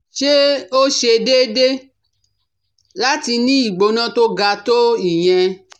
sé ó ṣe déédé láti ní ìgbóná tó ga tó ìyẹn?